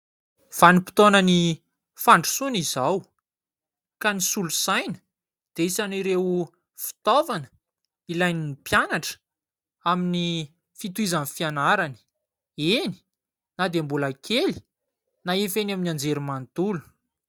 Vanim-potoanan'ny fandrosoana izao ka ny solosaina dia isan'ireo fitaovana ilain'ny mpianatra amin'ny fitohizan'ny fianarany eny, na dia mbola kely na efa eny amin'ny anjerimanontolo.